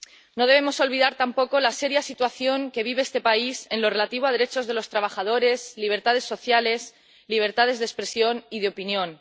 No debemos olvidar tampoco la seria situación que vive este país en lo relativo a derechos de los trabajadores, libertades sociales, libertades de expresión y de opinión.